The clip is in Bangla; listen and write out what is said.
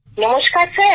নমস্কার স্যার